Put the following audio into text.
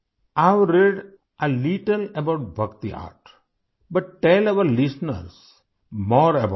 I have read a little about Bhakti Art but tell our listeners more about it